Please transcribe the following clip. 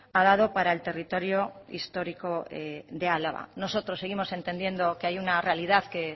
a dado para el territorio histórico de álava nosotros seguimos entendiendo que hay una realidad que